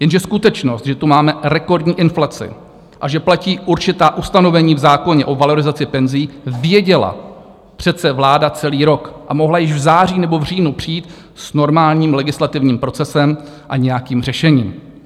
Jenže skutečnost, že tu máme rekordní inflaci a že platí určitá ustanovení v zákoně o valorizaci penzí, věděla přece vláda celý rok a mohla již v září nebo v říjnu přijít s normálním legislativním procesem a nějakým řešením.